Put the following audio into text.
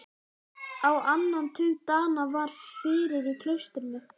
Á annan tug Dana var fyrir í klaustrinu.